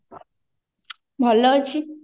ଭଲ ଅଛି